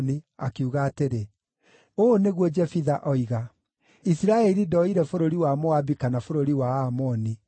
akiuga atĩrĩ: “Ũũ nĩguo Jefitha oiga: Isiraeli ndooire bũrũri wa Moabi kana bũrũri wa Aamoni.